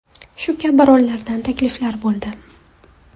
Shu kabi rollardan takliflar bo‘ldi.